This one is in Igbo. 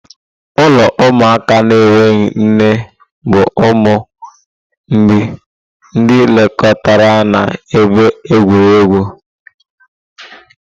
Ụlọ ụmụaka na-enweghị nne bụ ụmụ mgbei, ndị nlekọta na ebe egwuregwu.